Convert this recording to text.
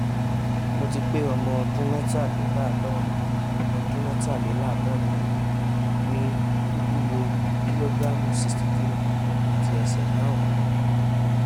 mo ti pé ọmọ ọdún metalelaadorun ọdún metalelaadorun ni mí mi ń wúwo kìlógíráàmù 63 àti ẹsẹ̀ márùn-ún